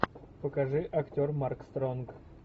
покажи актер марк стронг